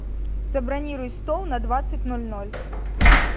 забронируй стол на двадцать ноль ноль